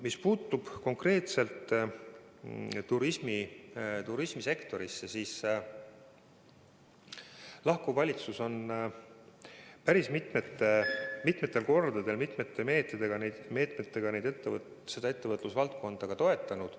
Mis puudutab konkreetselt turismisektorit, siis lahkuv valitsus on päris mitmel korral mitmesuguste meetmetega seda ettevõtlusvaldkonda toetanud.